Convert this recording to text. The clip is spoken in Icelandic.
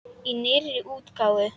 Í nýrri útgáfu!